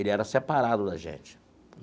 Ele era separado da gente.